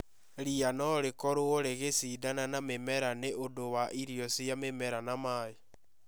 Ria no rĩkorũo rĩgĩcindana na mĩmera nĩ ũndũ wa irio cia mĩmera na maĩ